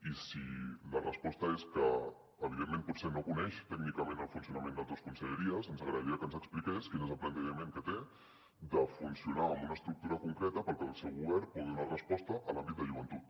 i si la resposta és que evidentment potser no coneix tècnicament el funcionament d’altres conselleries ens agradaria que ens expliqués quin és el plantejament que té de funcionar amb una estructura concreta perquè el seu govern pugui donar resposta a l’àmbit de joventut